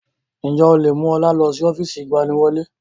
Ǹjẹ́ o lè mú ọlá lọ sí ọ́fíìsì ìgbaniwọlé?